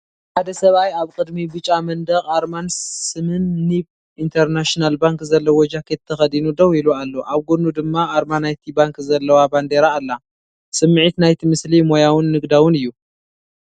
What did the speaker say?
ሓደ ሰብኣይ ኣብ ቅድሚ ብጫ መንደቕ ኣርማን ስምን ኒብ ኢንተርናሽናል ባንክ ዘለዎ ጃኬት ተኸዲኑ ደው ኢሉ ኣሎ። ኣብ ጎድኑ ድማ ኣርማ ናይቲ ባንክ ዘለዋ ባንዴራ ኣላ። ስምዒት ናይቲ ምስሊ ሞያውን ንግዳውን እዩ።